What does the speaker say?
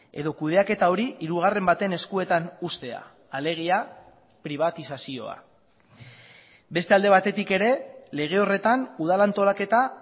edo kudeaketa hori hirugarren baten eskuetan uztea alegia pribatizazioa beste alde batetik ere lege horretan udal antolaketa